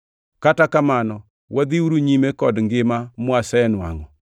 Kata kamano, wadhiuru nyime kod ngima mawasenwangʼo.